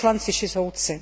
poslanci či soudci.